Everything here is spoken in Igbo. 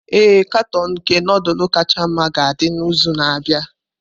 Ee, katọn nke nudulu kacha mma ga-adị n'izu na-abịa.